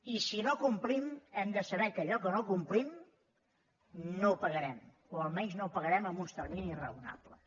i si no complim hem de saber que allò que no complim no ho pagarem o almenys no ho pagarem en uns terminis raonables